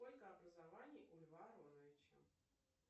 сколько образований у льва ароновича